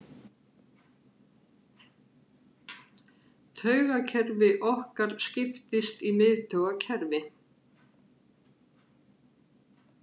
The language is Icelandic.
Taugakerfi okkar skiptist í miðtaugakerfi.